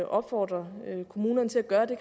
opfordre kommunerne til at gøre det